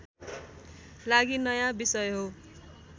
लागि नयाँ विषय हो